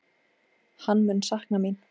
Hann mun sakna mín.